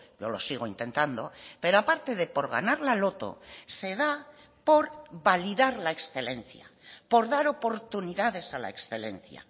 yo lo sigo intentando pero aparte de por ganar la loto se da por validar la excelencia por dar oportunidades a la excelencia